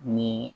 Ni